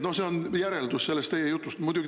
See on järeldus teie jutust.